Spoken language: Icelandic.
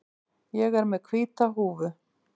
Ég er með hvíta húfu.